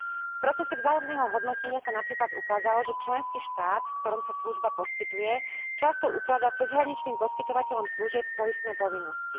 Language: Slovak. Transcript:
V procese vzájomného hodnotenia sa napríklad ukázalo, že členský štát, v ktorom sa služba poskytuje, často ukladá cezhraničným poskytovateľom služieb poistné povinnosti.